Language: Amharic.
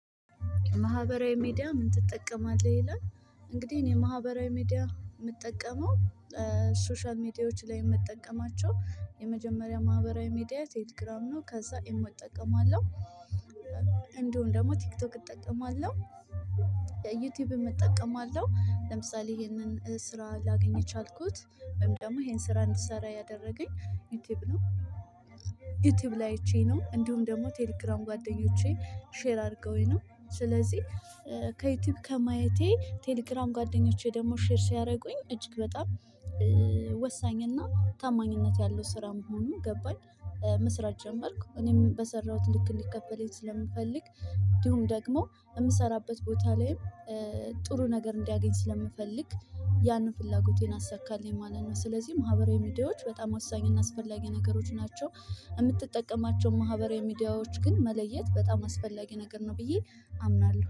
ማህበራዊ ሚዲያ? ምን ትጠቀማለህ ይላል እንግዲህ እኔ ማህበራዊ ሚዲያ የምጠቀመው ሶሻል ሚዲያዎች ላይ ምጠቀማቸው። የመጀመሪያ ማህበራዊ ሚዲያ ቴሌግራም ነው። ከዛ ኢሞ እጠቀማለሁ። እንደሁም ደግሞ ቲክቶክ እጠቀማለሁ። የዩቲዩብ እጠቀማለሁ። ለምሳሌ ይሄንን ስራ ላገኝ የቻልኩት ወይም ደግሞ ይሄን ስራ እንድትሰራ ያደረገኝ ዩቲዩብ ነው። ዩቲዩብ ላይ አይቼ ነው እንዲሁም ደግሞ ቴሌግራም ጓደኞቼ ሼር አድርገውኝ ነው። ስለዚህ ከዩቲዩብ ከማየቴ ቴሌግራም ጓደኞቼ ደግሞ ሼር ሲያደርጉኝ እጅግ በጣም ወሳኝና ታማኝነት ያለው ስራ መሆኑ ገባኝ። መስራት ጀመርኩ እኔም በሰራሁት ልክ እንዲቀበለኝ ስለምፈልግ እንዲሁም ደግሞ የምሰራበት ቦታ ላይም ጥሩ ነገር እንዲያገኝ ስለምፈልግ ያንን ፍላጎቴን አሳካለኝ ማለት ነው። ስለዚህ ማህበራዊ ሚድያዎች በጣም ወሳኝ እና አስፈላጊ ነገሮች ናቸው። የምትጠቀማቸው ማህበራዊ ሚዲያዎች ግን መለየት በጣም አስፈላጊ ነገር ነው ብዬ አምናለሁ